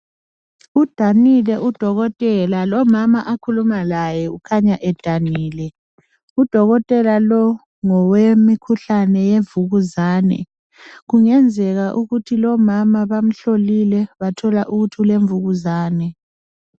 Udanile udokotela lomama akhuluma laye kukhanya edanile udokotela lo ngowemikhuhlane yemvukuzane kungenzeka ukuthi lomama bamhlolile bathola ukuthi ulemvukuzane.